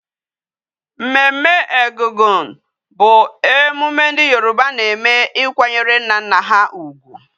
Mmemme Egungun bu emune ndi Yoruba na eme ikwanyere nna nna ha ugwu